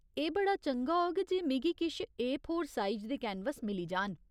एह् बड़ा चंगा होग जे मिगी किश ए फोर साइज दे कैनवस मिली जान।